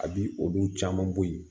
A bi olu caman bɔ yen